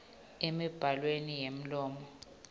emibhalweni yemlomo sib